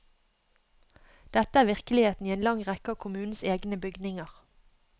Dette er virkeligheten i en lang rekke av kommunens egne bygninger.